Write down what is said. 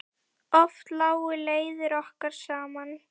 Oft lágu leiðir okkar saman.